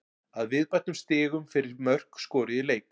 Að viðbættum stigum fyrir mörk skoruð í leik.